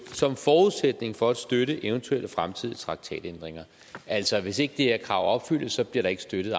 som forudsætning for at støtte eventuelle fremtidige traktatændringer altså hvis ikke det her krav opfyldes bliver der ikke støtte